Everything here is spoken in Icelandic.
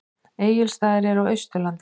Egilsstaðir eru á Austurlandi.